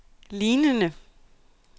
lignende